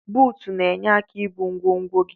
Buut na enye aka ibu ngwogwo gi.